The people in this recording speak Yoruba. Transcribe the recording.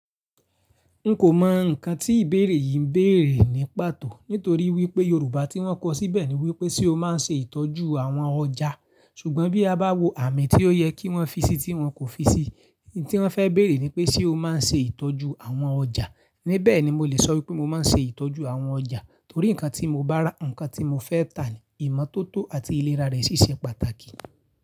N kò mọ nǹkan tí ìbéèrè yìí ń béèrè ní pàtó. Nítorí wípé Yorùbá tí wọ́n kọ síbẹ̀ ni wípé, ṣe o máa ń ṣe ìtọ́jú àwọn ọjà? Ṣùgbọ́n bí a bá wo àmì tí ó yẹ kí wọ́n fi sí tí wọ́n kò fi sí, n tí wọ́n fẹ́ béèrè ni pé, ṣe o máa ń ṣe ìtọ́jú àwọn ọjà? Níbẹ̀ ni mo lè sọ wípé mo máa ń ṣe ìtọ́jú àwọn ọjà. Torí nǹkan tí mo bá rà, nǹkan tí mo fẹ́ tà ni, ìmọ́tótó àti ìlera rẹ̀ ṣiṣẹ́ pàtàkì.